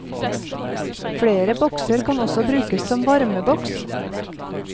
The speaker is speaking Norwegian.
Flere bokser kan også brukes som varmeboks.